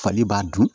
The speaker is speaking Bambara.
Fali b'a dun